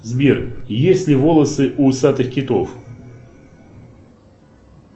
сбер есть ли волосы у усатых китов